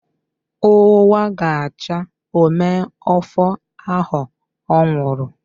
Onwa ga cha ome ofu aho onwuru